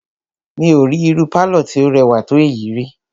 Mí ò rí irú pálọ̀ tí o rẹwà tó èyí ríi.